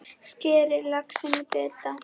Skerið laxinn í bita.